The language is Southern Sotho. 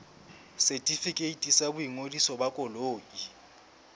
setefikeiti sa boingodiso ba koloi